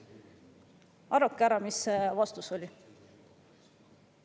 Arvake ära, milline vastus sealt tuli?